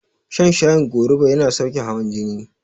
Shan shayin goruba yana sauke hawan jini